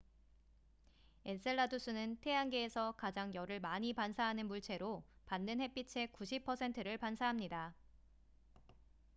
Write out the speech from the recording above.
엔셀라두스는 태양계에서 가장 열을 많이 반사하는 물체로 받는 햇빛의 90 퍼센트를 반사합니다